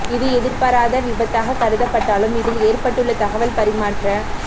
இது எதிர்பாராத விபத் தாக கருதப்பட்டா லும் இதில் ஏற்பட்டுள்ள தகவல் பரிமாற்ற